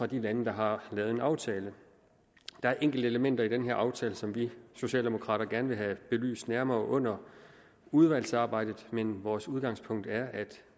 de lande der har lavet en aftale der er enkelte elementer i den her aftale som vi socialdemokrater gerne vil have belyst nærmere under udvalgsarbejdet men vores udgangspunkt er at